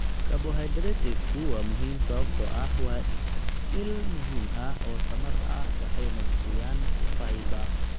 Carbohydratesku waa muhiim sababtoo ah waa il muhiim ah oo tamar ah waxayna bixiyaan fiber